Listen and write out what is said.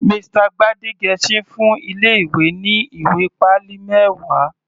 Mr Gbadegesin fún ilé ìwé ní ìwé pálí mẹwa.